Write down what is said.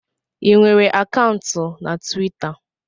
Ị nwere akaụntụ na Twita?